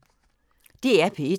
DR P1